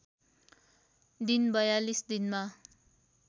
दिन ४२ दिनमा